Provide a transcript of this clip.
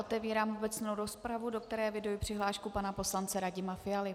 Otevírám obecnou rozpravu, do které eviduji přihlášku pana poslance Radima Fialy.